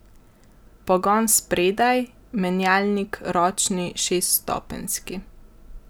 Pogon spredaj, menjalnik ročni šeststopenjski.